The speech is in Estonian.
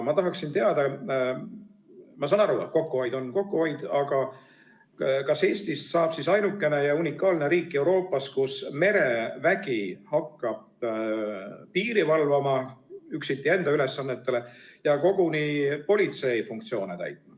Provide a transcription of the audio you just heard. Ma saan aru, et kokkuhoid on kokkuhoid, aga ma tahaksin teada, kas Eestist saab siis ainukene ja unikaalne riik Euroopas, kus merevägi hakkab lisaks enda ülesannetele üksiti piiri valvama ja koguni politsei funktsioone täitma.